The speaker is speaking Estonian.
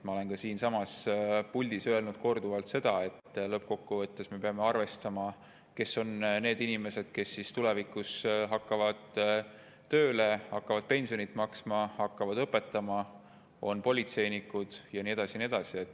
Ma olen siinsamas puldis öelnud korduvalt seda, et lõppkokkuvõttes me peame arvestama, kes on need inimesed, kes tulevikus hakkavad tööle, hakkavad pensionit maksma, hakkavad õpetama, on politseinikud ja nii edasi ja nii edasi.